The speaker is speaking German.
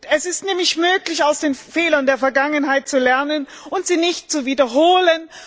Es ist nämlich möglich, aus den Fehlern der Vergangenheit zu lernen und sie nicht zu wiederholen.